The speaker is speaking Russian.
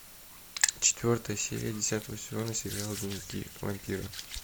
четвертая серия десятого сезона сериала дневники вампира